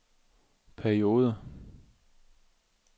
perioder